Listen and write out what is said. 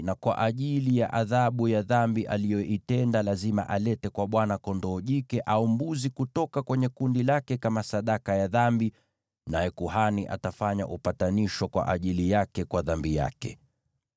na kama adhabu ya dhambi aliyoitenda, lazima alete kwa Bwana kondoo jike au mbuzi jike kutoka kwenye kundi lake kama sadaka ya dhambi; naye kuhani atafanya upatanisho kwa ajili yake kwa dhambi yake.